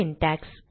syntax